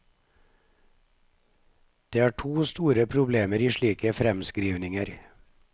Det er to store problemer i slike fremskrivninger.